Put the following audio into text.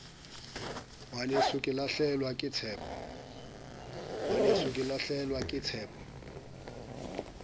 ngwaneso ke lahlehelwa ke tshepo